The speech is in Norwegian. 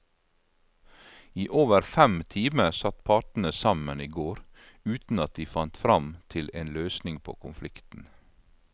I over fem timer satt partene sammen i går uten at de fant frem til en løsning på konflikten.